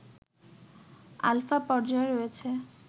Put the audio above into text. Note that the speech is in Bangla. আলফা পর্যায়ে রয়েছে